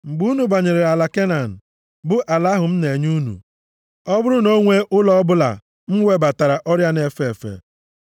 “Mgbe unu banyere ala Kenan, bụ ala ahụ m na-enye unu, ọ bụrụ na o nwee ụlọ ọbụla m webatara ọrịa na-efe efe,